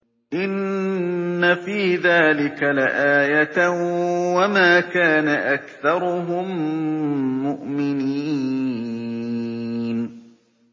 إِنَّ فِي ذَٰلِكَ لَآيَةً ۖ وَمَا كَانَ أَكْثَرُهُم مُّؤْمِنِينَ